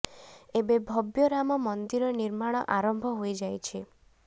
ଏବେ ଭବ୍ୟ ରାମ ମନ୍ଦିର ନିର୍ମାଣ ଆରମ୍ଭ ହୋଇ ଯାଇଛି